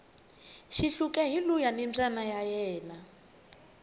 xihluke hi luuya ni mbayna ya ena